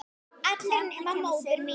Allir nema móðir mín.